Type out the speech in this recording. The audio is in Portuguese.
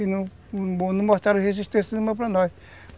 E não mostraram resistência nenhuma para nós.